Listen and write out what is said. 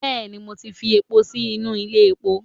bẹẹni, Mo ti fi epó sinu ilé epó